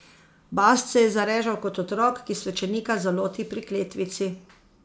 Bast se je zarežal kot otrok, ki svečenika zaloti pri kletvici.